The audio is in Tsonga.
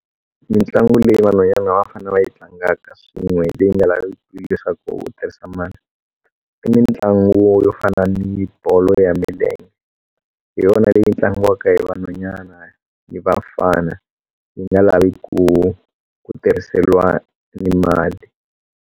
Mintlangu leyi vanhwanyana a va fanele va yi tlangaka swin'we leyi nga laviki leswaku u tirhisa mali i mitlangu yo fana ni bolo ya milenge hi yona leyi tlangiwaka hi vanhwanyana ni vafana yi nga lavi ku ku tirhiseliwa ni mali.